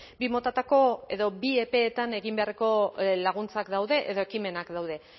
bi motatako edo bi epeetan egin beharreko laguntzak daude edo ekimenak daude